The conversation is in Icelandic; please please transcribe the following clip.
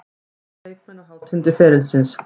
Þetta eru leikmenn á hátindi ferilsins.